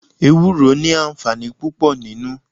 Ewúro ni àǹfààní púpò nínú.